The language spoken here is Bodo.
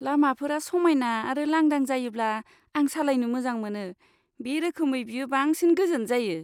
लामाफोरा समायना आरो लांदां जायोब्ला आं सालायनो मोजां मोनो, बे रोखोमै, बेयो बांसिन गोजोन जायो।